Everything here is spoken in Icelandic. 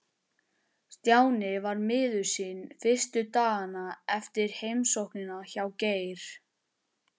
Stjáni var miður sín fyrstu dagana eftir heimsóknina hjá Geir.